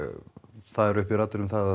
það eru uppi raddir um það að